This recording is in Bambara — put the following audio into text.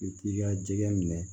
I k'i ka jɛgɛ minɛ